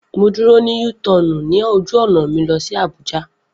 Mo dúró ní U tọọnu ní ojú ọ̀nà mi lọ sí Abuja